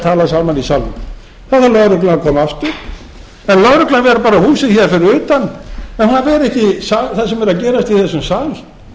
í salnum þá verður lögreglan að koma aftur en lögreglan er bara húsið fyrir utan en það er ekki það sem er að gefist í þessum sal